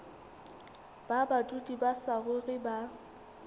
ba badudi ba saruri ba